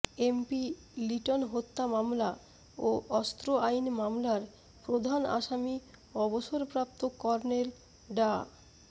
MP Liton হত্যা মামলা ও অস্ত্র আইন মামলার প্রধান আসামি অবসরপ্রাপ্ত কর্নেল ডা